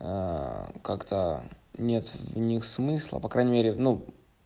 как-то нет в них смысла по крайней мере ну